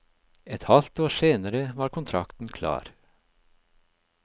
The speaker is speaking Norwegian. Et halvt år senere var kontrakten klar.